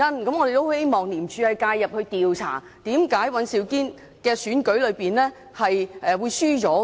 所以，我們希望廉政公署介入調查，為甚麼尹兆堅議員會在區議會選舉中落敗。